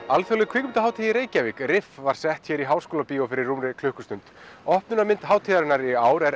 alþjóðleg kvikmyndahátíð í Reykjavík var sett hér í Háskólabíói fyrir rúmri klukkustund hátíðarinnar í ár er